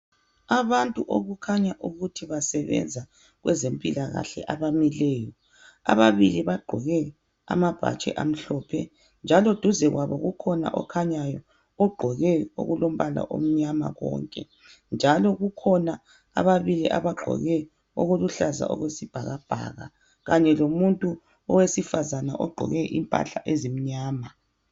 Abantu okukhanya ukuthi basebenza kwezempilakahle abamileyo . Ababili bagqoke amabhatshi amhlophe .Njalo duze kwabo kukhona okhanyayo ogqoke okulombala omnyama konke .Njalo kukhona ababili abagqoke okuluhlaza okwesibhakabhaka. Kanye lomuntu owesifazana ogqoke impahla ezimnyama .